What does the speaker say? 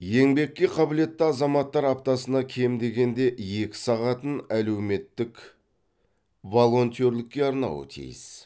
еңбекке қабілетті азаматтар аптасына кем дегенде екі сағатын әлеуметтік волонтерлікке арнауы тиіс